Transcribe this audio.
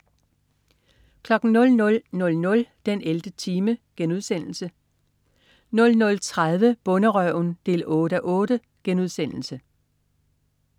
00.00 den 11. time* 00.30 Bonderøven 8:8*